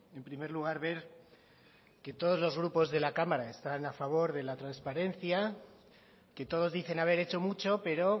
en primer lugar ver que todos los grupos de la cámara están a favor de la transparencia que todos dicen haber hecho mucho pero